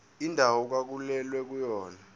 indawo okwakulwelwa kuyona